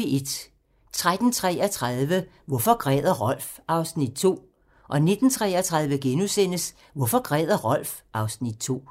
13:33: Hvorfor græder Rolf? (Afs. 2) 19:33: Hvorfor græder Rolf? (Afs. 2)*